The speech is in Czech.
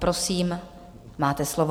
Prosím, máte slovo.